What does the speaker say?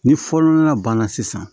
Ni fɔ nɔnɔ banna sisan